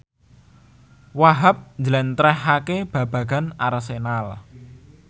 Wahhab njlentrehake babagan Arsenal